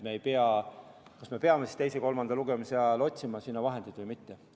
Me peame siis teise ja kolmanda lugemise vahel otsustama, kas otsida sinna vahendeid või mitte.